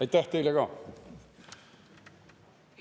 Aitäh teile ka!